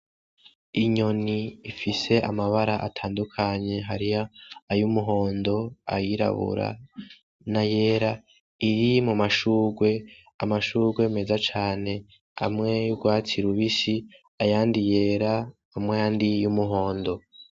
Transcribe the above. Inyoni ifise amabara atandukanye hari yay'umuhondo, ayirabura nayera iri mu mashurwe, amashurwe meza cane amwe y'urwatsi rubisi ayandi yera ham'ayandi y'umuhondo.